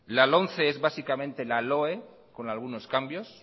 la lomce es básicamente la loe con algunos cambios